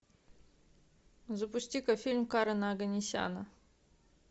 запусти ка фильм карена оганесяна